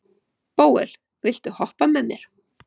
Bóel, viltu hoppa með mér?